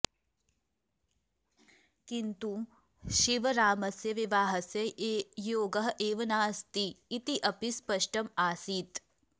किन्तु शिवरामस्य विवाहस्य योगः एव नास्ति इति अपि स्पष्टम् आसीत्